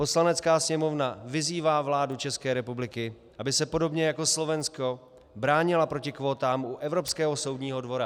Poslanecká sněmovna vyzývá vládu České republiky, aby se podobně jako Slovensko bránila proti kvótám u Evropského soudního dvora.